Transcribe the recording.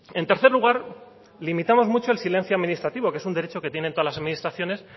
en tercer lugar limitamos mucho el silencio administrativo que es un derecho que tienen todas las administraciones